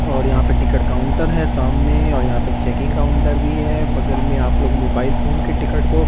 और यहां पे टिकट काउंटर है सामने और यहां पे चेकिंग काउंटर भी है बगल में आप लोग मोबाइल फोन के टिकट को--